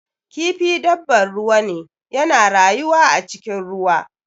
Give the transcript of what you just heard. Kifi dabbar ruwa ne, yana rayuwa a cikin ruwa.